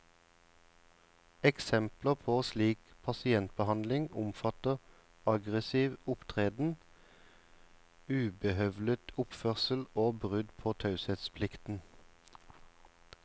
Eksempler på slik pasientbehandling omfatter aggressiv opptreden, ubehøvlet oppførsel og brudd på taushetsplikten.